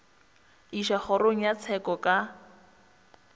išwa kgorong ya tsheko ka